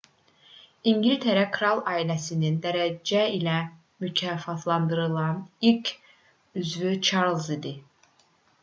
i̇ngiltərə kral ailəsinin dərəcə ilə mükafatlandırılan ilk üzvü çarlz idi